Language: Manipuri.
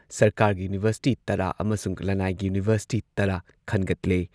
ꯁꯔꯀꯥꯔꯒꯤ ꯌꯨꯅꯤꯚꯔꯁꯤꯇꯤ ꯇꯔꯥ ꯑꯃꯁꯨꯡ ꯂꯟꯅꯥꯏꯒꯤ ꯌꯨꯅꯤꯚꯔꯁꯤꯇꯤ ꯇꯔꯥ ꯈꯟꯒꯠꯂꯦ꯫